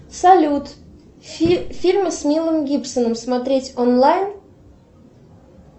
салют фильмы с мэлом гибсоном смотреть онлайн